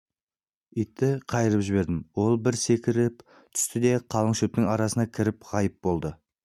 итті қайырып жібердім ол бір секіріп түсті де қалың шөптің арасына кіріп ғайып болды